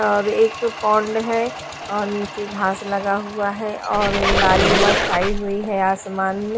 एक पौंड है और नीचे घास लगा हुआ है और लालिमा छाई हुई है आसमान में।